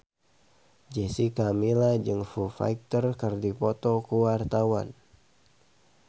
Jessica Milla jeung Foo Fighter keur dipoto ku wartawan